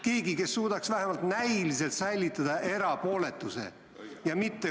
Keegi, kes suudaks vähemalt näiliselt säilitada erapooletuse ega katsuks aidata?